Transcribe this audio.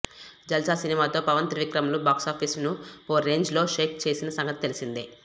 జల్సా సినిమాతో పవన్ త్రివిక్రమ్ లు బాక్సఫీస్ ను ఓ రేంజ్ లో షేక్ చేసిన సంగతి తెలిసేందే